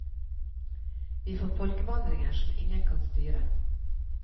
Vi får folkevandringer som ingen kan styre.